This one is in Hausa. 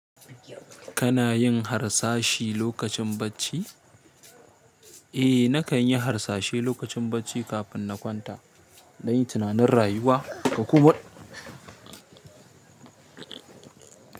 Kana yin harsashi lokacin bacci? Eh, nakan yi harsashelokacin bacci kafin na kwanta. Nayi tunanin rayuwa.